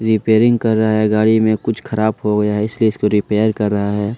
Repairing कर रहे है गाड़ी में कुछ खराब हो गया है इसलिए इसको रिपेयर कर रहा है।